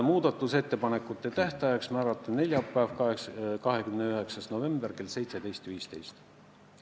Muudatusettepanekute tähtaeg võiks olla neljapäev, 29. november kell 17.15.